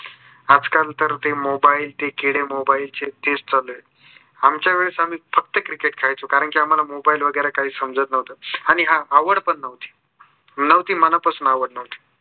आजकाल तर ते mobile ते किडे mobile चे तेच चालू आहेत. आमच्यावेळेस आम्ही फक्त cricket खेळायचो. कारण की आम्हाला mobile वगेरे काही समजत नव्हते. आणि हा आवड पण नव्हती. मुळात ती मनापासून आवड नव्हती.